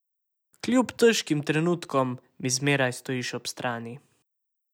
Kljub težkim trenutkom mi zmeraj stojiš ob strani!